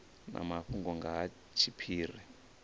na mafhungo nga ha tshiphiri